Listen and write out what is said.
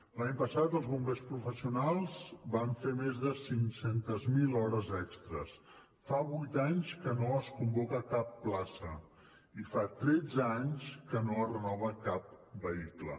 l’any passat els bombers professionals van fer més de cinc cents miler hores extres fa vuit anys que no es convoca cap plaça i fa tretze anys que no es renova cap vehicle